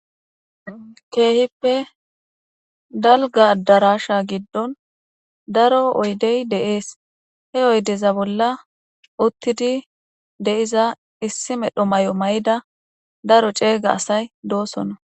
keehippe dalgadarasha giddon daro oydey deees he oydeza bolla uttidi de7iza issi medho may7o may7ida daro ceeyga asay doosona